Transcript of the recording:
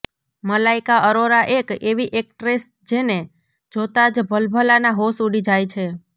મલાઈકા અરોરા એક એવી એકટ્રેસ જેને જોતા જ ભલભલાના હોશ ઉડી જાય છે